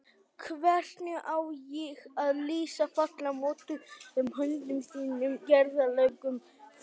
Hvernig á ég að lýsa fallega mótuðum höndum þínum, gerðarlegum fingrum?